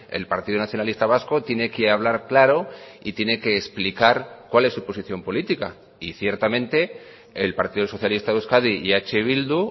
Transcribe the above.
el partido nacionalista vasco tiene que hablar claro y tiene que explicar cuál es su posición política y ciertamente el partido socialista de euskadi y eh bildu